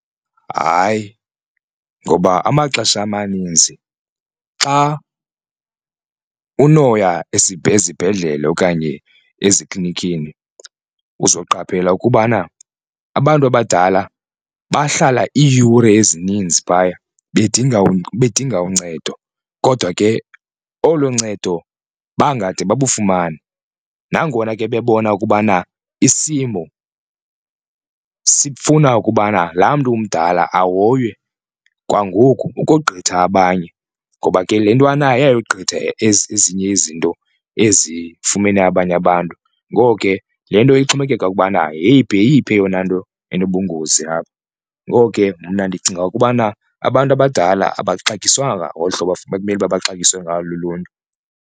Hayi ngoba amaxesha amaninzi xa unoya esibhedle okanye eziklinikhini uzawuqaphela ukubana abantu abadala bahlala iiyure ezininzi phaya bedinga bedinga uncedo kodwa ke olo ncedo bangade babafumane. Nangona ke bebona ukubana isimo sifuna ukubana laa mntu mdala ahoywe kwangoku ukogqitha abanye ngoba ke le nto anayo iyayogqitha ezinye izinto ezifumene abanye abantu, ngoko ke le nto ixhomekeka ukubana yeyiphi yeyiphi eyona nto enobungozi apha. Ngoko ke mna ndicinga ukubana abantu abadala abaxatyswanga ngolu hlobo bekumele uba baxatyisiwe ngalo luluntu.